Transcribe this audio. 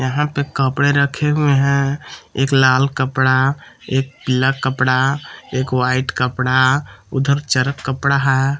यहां पे कपड़े रखे हुए हैं एक लाल कपड़ा एक पीला कपड़ा एक वाइट कपड़ा उधर चरक कपड़ा है।